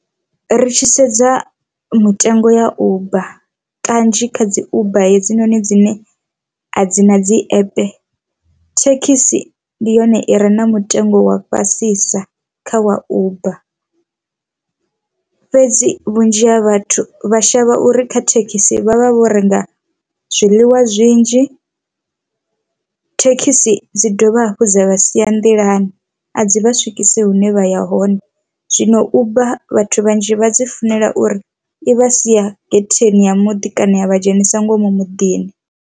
Ri tshi sedza mutengo ya uber kanzhi kha dzi uber hedzinoni dzine a dzi na dzi app thekhisi ndi yone i re na mutengo wa fhasisa kha wa uber, fhedzi vhunzhi ha vhathu vha shavha uri kha thekhisi vha vha vho renga zwiḽiwa zwinzhi. Thekhisi dzi dovha hafhu dza vha sia a nḓilani a dzi vha swikise hune vha ya hone zwino uber vhathu vhanzhi vha dzi funela uri i vha sia getheni ya muḓi kana a vha dzhenisa ngomu muḓini.